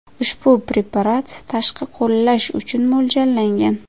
Ushbu preparat tashqi qo‘llash uchun mo‘ljallangan.